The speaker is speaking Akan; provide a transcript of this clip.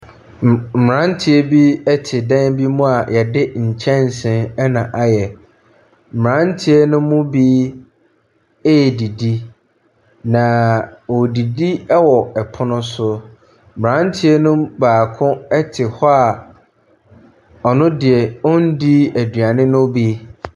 Mmranteɛ bi te dan bi mu a yɛde nkyɛnsee na ayɛ. Mmranteɛ no mu bi redidi. Na Wɔredidi wɔ pono so. Abranteɛ no mu baako te hɔ a ɔno deɛ, onni aduane no bi.